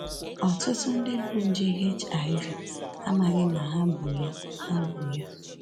Ọtụtụ ndị bu nje HIV amaghị na ha bu ya ha bu ya